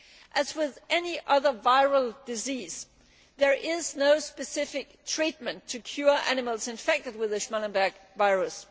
As with any other viral disease, there is no specific treatment to cure animals infected with the Schmallenberg virus.